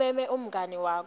umeme umngani wakho